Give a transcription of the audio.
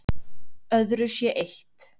Öðru sé eytt